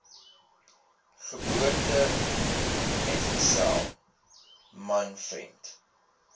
geboortemetgesel man vriend